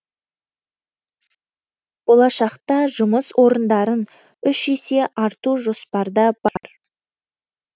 болашақта жұмыс орындарын үш есе арту жоспарда бар